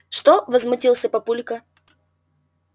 что возмутился папулька